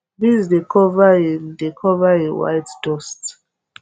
beans dey cover in dey cover in white dust